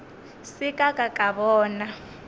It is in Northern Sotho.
se ka ka ka bona